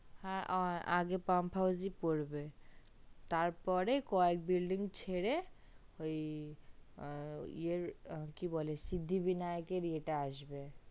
হ্যা আগে pump house জি পড়বে তার পরে কয়েক building ছেড়ে ওই ইয়ের কি বলে সিদ্ধিবিনায়ক এর ইয়ে আসবে